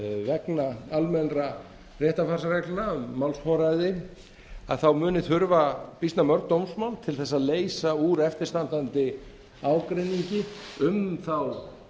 vegna almennra réttarfarsreglna um málsforræði muni þurfa býsna mörg dómsmál til að leysa úr eftirstandandi ágreiningi um þá